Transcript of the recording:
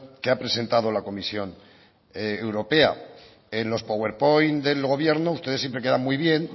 que ha presentado la comisión europea en los power point del gobierno ustedes siempre quedan muy bien